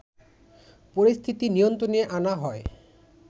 পরিস্থিতি নিয়ন্ত্রণে আনা হয়